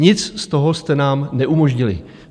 Nic z toho jste nám neumožnili.